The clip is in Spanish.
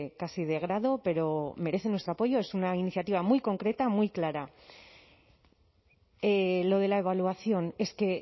casi de grado pero merece nuestro apoyo es una iniciativa muy concreta muy clara lo de la evaluación es que